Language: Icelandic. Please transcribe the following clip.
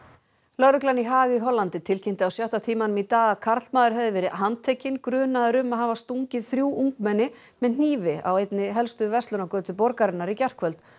lögreglan í Haag í Hollandi tilkynnti á sjötta tímanum í dag að karlmaður hefði verið handtekinn grunaður um að hafa stungið þrjú ungmenni með hnífi á einni helstu verslunargötu borgarinnar í gærkvöld